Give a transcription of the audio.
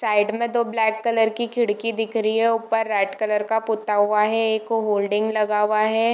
Side में दो black colour की खिड़की दिख रही है ऊपर रेड कलर का पुता हुआ है एक होल्डिंग लगा हुआ है।